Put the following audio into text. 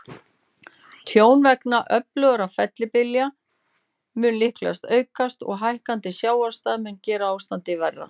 Tjón vegna öflugra fellibylja mun líklega aukast, og hækkandi sjávarstaða mun gera ástandið verra.